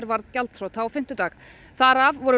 varð gjaldþrota á fimmtudag þar af voru